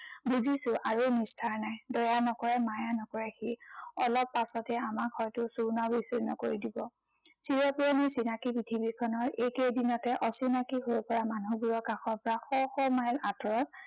বুজিছো আৰু নিস্তাৰ নাই। দয়া নকৰে, মায়া নকৰে সি। অলপ পাছতে আমাক হয়তো চূৰ্ণ বিচুৰ্ণ কৰি দিব। চিৰ পুৰণি চিনাকি পৃথিৱীখনৰ এইকেইদিনতে অচিনাকি হৈ পৰা মানুহবোৰৰ কাষৰ পৰা শ শ মাইল আঁতৰত